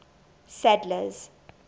sadler's